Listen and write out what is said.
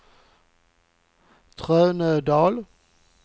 Trönödal